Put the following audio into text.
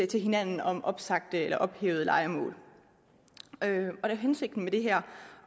til hinanden om opsagte eller ophævede lejemål hensigten med det er